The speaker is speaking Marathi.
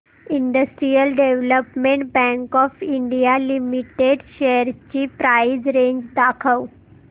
industrial development bank of India limited shares ची प्राइस रेंज दाखव